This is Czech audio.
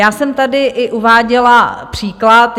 Já jsem tady i uváděla příklad.